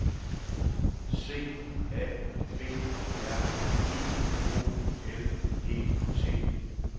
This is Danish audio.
C A B R I O L E T